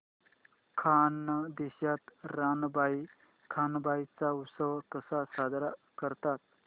खानदेशात रानबाई कानबाई चा उत्सव कसा साजरा करतात